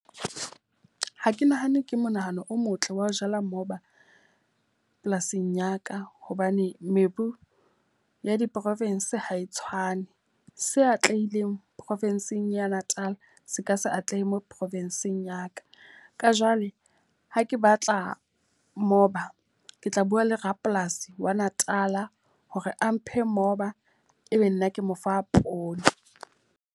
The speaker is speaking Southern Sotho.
Ha ke nahane ke monahano o motle wa ho jala moba polasing ya ka. Hobane mebu ya di-province ha e tshwane. Se atlehileng profinsing ya Natal se ka se atlehe mo profinsing ya ka. Ka Jwale ha ke batla moba, ke tla bua le rapolasi wa Natal hore a mphe moba e be nna ke mo fa poone.